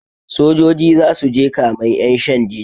Sojoji zasuje kamen ƴan shan jini